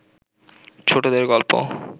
ছোটদের গল্প